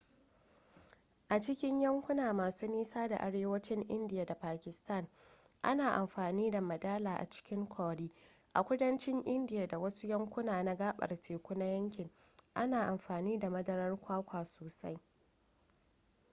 a cikin yankuna masu nisa na arewacin indiya da pakistan ana amfani da madala a cikin curry a kudancin indiya da wasu yankuna na gabar teku na yankin ana amfani da madarar kwakwa sosai